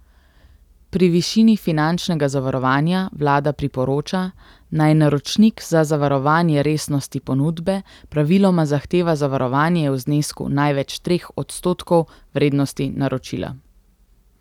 Pri višini finančnega zavarovanja vlada priporoča, naj naročnik za zavarovanje resnosti ponudbe praviloma zahteva zavarovanje v znesku največ treh odstotkov vrednosti naročila.